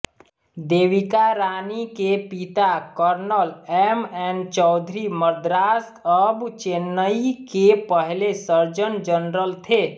देविका रानी के पिता colonel MN Chaudhary Madras अब चेन्नई के पहले सर्जन जनरल थे